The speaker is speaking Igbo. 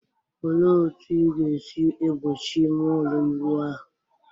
Olee otú ị ga-esi egbochi ime ụlọ ịwụ ahụ?